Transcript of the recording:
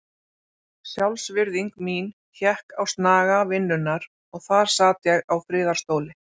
Sjálfsvirðing mín hékk á snaga vinnunnar og þar sat ég á friðarstóli.